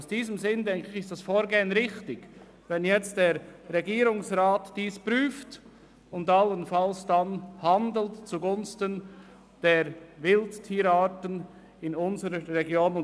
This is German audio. In diesem Sinn halte ich das Vorgehen für richtig, das heisst, dass der Regierungsrat die Situation prüft und allenfalls zugunsten der Wildtierarten in unserer Region handelt.